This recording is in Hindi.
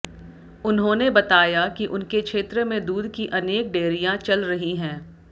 उन्होंने बताया कि उनके क्षेत्र में दूध की अनेक डेयरियां चल रही हैं